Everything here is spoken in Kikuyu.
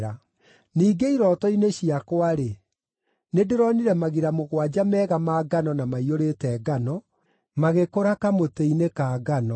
“Ningĩ irooto-inĩ ciakwa-rĩ, nĩndĩronire magira mũgwanja mega ma ngano na maiyũrĩte ngano, magĩkũũra kamũtĩ-inĩ ka ngano.